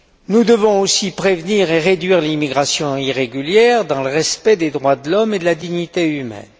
Nous devons aussi prévenir et réduire l'immigration irrégulière dans le respect des droits de l'homme et de la dignité humaine.